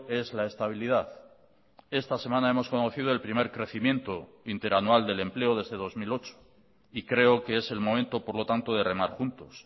es la estabilidad esta semana hemos conocido el primer crecimiento interanual del empleo desde dos mil ocho y creo que es el momento por lo tanto de remar juntos